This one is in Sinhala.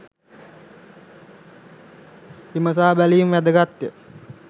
විමසා බැලීම වැදගත්ය